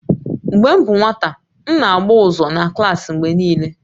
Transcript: Mgbe m bụ nwata, m na-agba ụzọ na klaasị mgbe niile